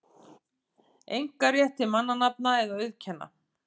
einkarétt til mannanafna eða auðkenna.